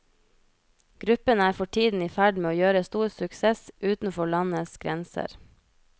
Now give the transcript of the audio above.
Gruppen er for tiden i ferd med å gjøre stor suksess utenfor landets grenser.